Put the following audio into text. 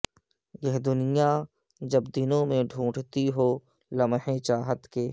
یہ دنیا جب دنوں میں ڈھونڈتی ہو لمحے چاہت کے